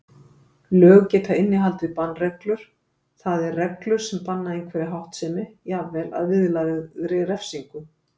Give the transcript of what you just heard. Lög geta innihaldið bannreglur, það er reglur sem banna einhverja háttsemi, jafnvel að viðlagðri refsingu.